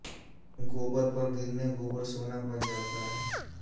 गोबर पर गिरने गोबर सोना बन जाता है